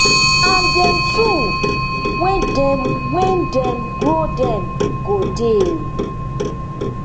and dem too wen dem wen dem grow dem go dey